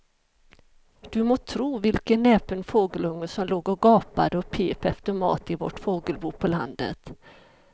Du må tro vilken näpen fågelunge som låg och gapade och pep efter mat i vårt fågelbo på landet.